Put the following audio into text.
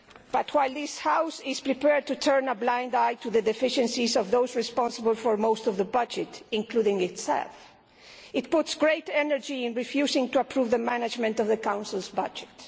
Yet while this House is prepared to turn a blind eye to the deficiencies of those responsible for most of the budget, including itself, it puts great energy into refusing to approve the management of the Council's budget.